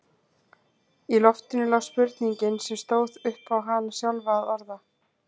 Í loftinu lá spurning sem stóð upp á hana sjálfa að orða.